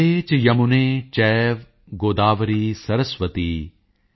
ਗੰਗੇ ਚ ਯਮੁਨੇ ਚੈਵ ਗੋਦਾਵਰੀ ਸਰਸਵਤੀ